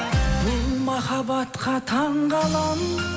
бұл махабатқа таңғаламын